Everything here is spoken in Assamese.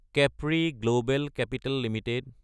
Capri global capital Ltd